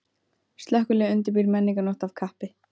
Slökkviliðið undirbýr menningarnótt af kappi